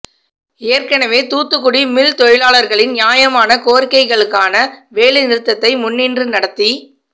ஏற்கெனவே தூத்துக்குடி மில் தொழிலாளர்களின் நியாயமான கோரிக்கைகளுக்கான வேலை நிறுத்தத்தை முன்னின்று நடத்தி